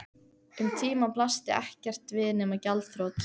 Um tíma blasti ekkert við nema gjaldþrot.